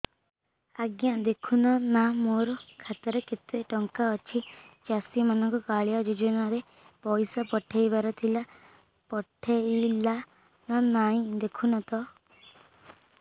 ଆଜ୍ଞା ଦେଖୁନ ନା ମୋର ଖାତାରେ କେତେ ଟଙ୍କା ଅଛି ଚାଷୀ ମାନଙ୍କୁ କାଳିଆ ଯୁଜୁନା ରେ ପଇସା ପଠେଇବାର ଥିଲା ପଠେଇଲା ନା ନାଇଁ ଦେଖୁନ ତ